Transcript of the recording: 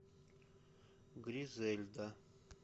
гризельда